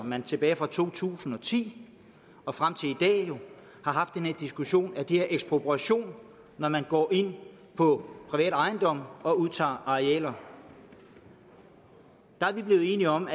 man tilbage fra to tusind og ti og frem til i dag jo har haft den diskussion om det er ekspropriation når man går ind på privat ejendom og udtager arealer der er vi blevet enige om